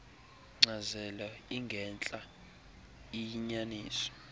nkcazelo ingentla iyinyaniso